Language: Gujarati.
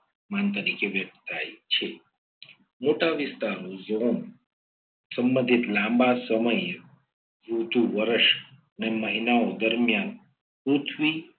માન તરીકે વ્યક્ત થાય છે. મોટા વિસ્તારો સંબંધિત લાંબા સમયે ઋતુ વર્ષ અને મહિનાઓ દરમિયાન પૃથ્વી